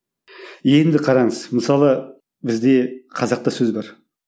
енді қараңыз мысалы бізде қазақта сөз бар